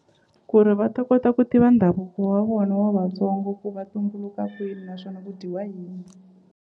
Ku ri va ta kota ku tiva ndhavuko wa vona wa Vatsongo ku va tumbuluka kwini naswona ku dyiwa yini.